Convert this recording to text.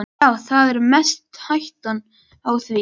Já, það er mest hættan á því.